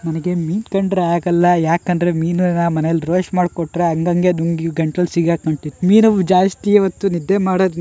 ನನಿಗೆ ಮೀನ್ ಕಂಡ್ರೆ ಆಗಲ್ಲ ಯಾಕಂದ್ರೆ ಮೀನುನ ಮನೇಲ್ ರೊಸ್ಟ ಮಾಡ್ಕೊಟ್ರೆ ಅಂಗಂಗೆ ದುಂಗಿ ಗಂಟ್ಲಲ್ ಸಿಗ್ ಹಾಕೊಂತಿತ್ತು ಮೀನವ್ ಜಾಸ್ತಿಯೇ ಹೊತ್ತು ನಿದ್ದೆ ಮಾಡೊದ್ --